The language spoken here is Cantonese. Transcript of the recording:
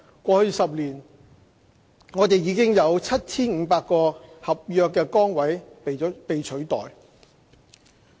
過去10年，已有 7,500 個合約崗位被取代。